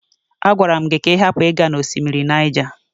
A gwara m gị ka ị hapụ ịga na osimiri Niger.